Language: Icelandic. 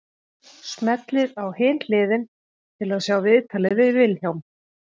Smellið á Hin hliðin til að sjá viðtalið við Vilhjálm.